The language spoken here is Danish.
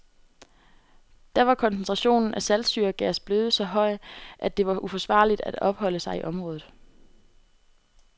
Da var koncentrationen af saltsyregas blevet så høj, at det var uforsvarligt af opholde sig i området.